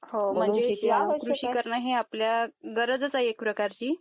हा म्हणजे अशी करणे ही गरजच आहे आपल्याला एक प्रकारची